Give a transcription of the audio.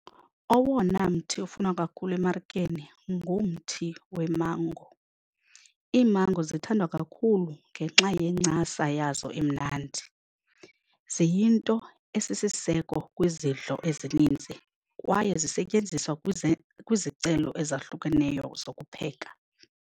Owona mthi ufunwa kakhulu emarikeni ngumthi wemango. Iimango zithandwa kakhulu ngenxa yencasa yazo emnandi, ziyinto esisisiseko kwezidlo ezininzi kwaye zisetyenziswa kwizicelo ezahlukeneyo zokupheka.